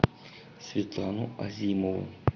светлану азимову